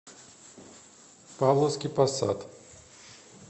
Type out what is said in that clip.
павловский посад